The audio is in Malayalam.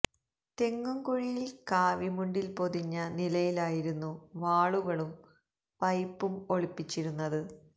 തെങ്ങും കുഴിയിൽ കാവി മുണ്ടിൽ പൊതിഞ്ഞ നിലിയിലായിരുന്നു വാളുകളും പൈപ്പും ഒളിപ്പിച്ചിരുന്നത്